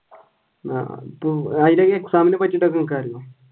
exam പറ്റിയിട്ട് നിനക്ക് അറിയോ?